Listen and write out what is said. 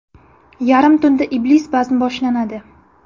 Yarim tunda Iblis bazmi boshlanadi.